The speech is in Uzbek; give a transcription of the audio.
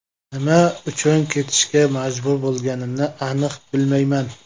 Nima uchun ketishga majbur bo‘lganini aniq bilmayman.